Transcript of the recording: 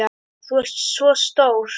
Þú ert svo stór.